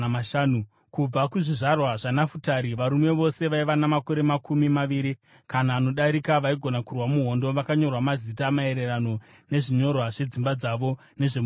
Kubva kuzvizvarwa zvaNafutari: Varume vose vaiva namakore makumi maviri kana anodarika vaigona kurwa muhondo vakanyorwa mazita, maererano nezvinyorwa zvedzimba dzavo nezvemhuri dzavo.